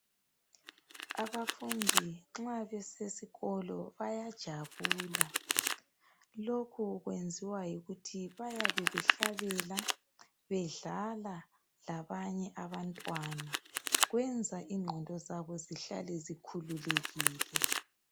Abafundi nxa besesikolo bayajabula lokhu kuyenziwa yikuthi bayabe behlahlabela bedlala labanye abantwana kwenza ingqondo zabo zihlale zikhululekile.